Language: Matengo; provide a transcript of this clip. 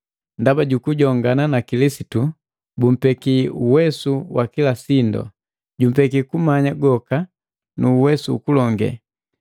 Ndaba jukujongana na Kilisitu bumpeki uwesu wa kila sindu. Jumpeki kumanya goka nu uwesu ukulonge.